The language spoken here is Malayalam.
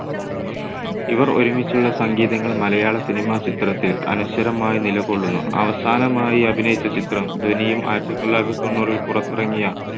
ഇവർ ഒരുമിച്ചുള്ള സംഗീതങ്ങൾ മലയാള cinema ചിത്രത്തിൽ അനശ്വരമായി നിലകൊള്ളുന്നു. അവസാനമായി അഭിനയിച്ച ചിത്രം ധ്വനിയും ആയിരത്തി തൊള്ളായിരത്തി തൊണ്ണൂറിൽ പുറത്തിറങ്ങിയ